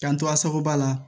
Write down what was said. K'an to a sagoba la